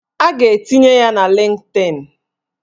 A ga-etinye ya na Lịnkdịn